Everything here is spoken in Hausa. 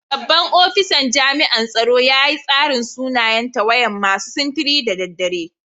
Babban ofisan jami'an tsaro ya yi tsarin sunayen tawayan masu sintiri da dare.